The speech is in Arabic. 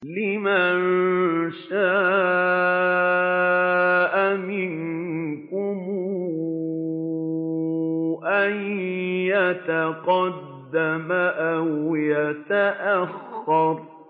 لِمَن شَاءَ مِنكُمْ أَن يَتَقَدَّمَ أَوْ يَتَأَخَّرَ